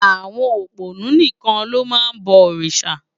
Awòn ópónù nikán ló má n bò órisá